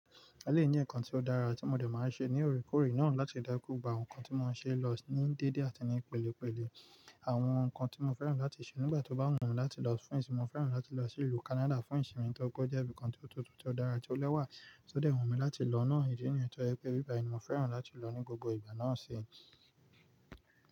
Eleyii ni nkan tí ó dára tí mo dẹ̀ máa n ṣe ní oorekoore náà láti jeki gbogbo awon ohun kan tí mo ṣe lọ ní dédé àti ní pèlépèlé àwọn nǹkan tí mo fẹ́ràn láti ṣe nígbà tó bá wù mí láti lọ fún ìsinmi. Mo fẹ́ràn láti lọ sí ìlú Kánádà fún ìsinmi tó pe we were jẹ́ bí i kan tí ó tútù, tí ó dára, tí ó lẹ́wà, tó dẹ̀ wù mí láti lọ náà. Ìdí nìyẹn tó yẹpẹ báyìí ni mo fẹ́ràn láti lọ ní gbogbo ìgbà náà ṣi.